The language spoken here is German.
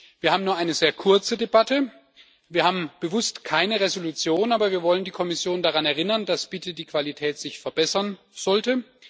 Wir haben nur eine sehr kurze Debatte, wir haben bewusst keine Entschließung, aber wir wollen die Kommission daran erinnern, dass die Qualität sich bitte verbessern sollte.